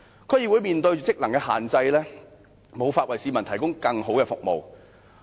區議會面對職能的限制，無法為市民提供更好的服務。